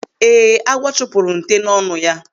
Ee, agwọ chụpụrụ nte n'ọnụ ya.